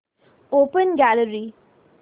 open gallery